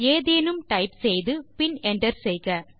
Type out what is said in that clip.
ஏதேனும் டைப் செய்து பின் என்டர் செய்க